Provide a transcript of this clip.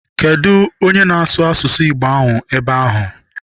Kedụ onye na-asụ asụsụ Igbo ahụ ebe ahụ?